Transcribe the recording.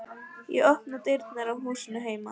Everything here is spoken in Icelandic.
Ég opna dyrnar á húsinu heima.